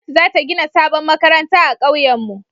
gwamnati za ta gina sabon makaranta a kauyen mu